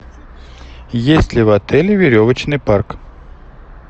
есть ли в отеле веревочный парк